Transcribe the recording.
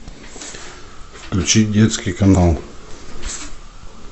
включить детский канал